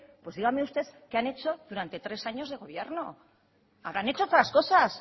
pues dígame usted qué han hecho durante tres años de gobierno habrán hecho otras cosas